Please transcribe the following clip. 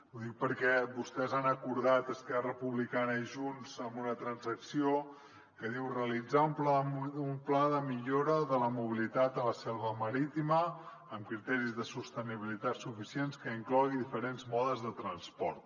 ho dic perquè vostès han acordat esquerra republicana i junts una transacció que diu realitzar un pla de millora de la mobilitat a la selva marítima amb criteris de sostenibilitat suficients que inclogui diferents modes de transport